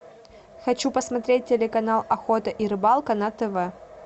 хочу посмотреть телеканал охота и рыбалка на тв